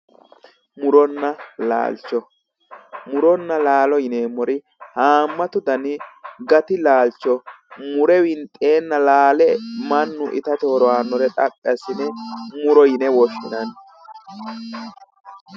murunna laalcho muronna laalo yineemmori haammatu dani gati laalcho mure winxeenna laale mannu itate horo aannore xaphi assine murote yinanni.